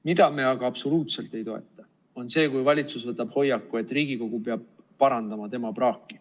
Mida me aga absoluutselt ei toeta, on see, kui valitsus võtab hoiaku, et Riigikogu peab parandama tema praaki.